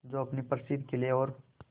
जो अपने प्रसिद्ध किले और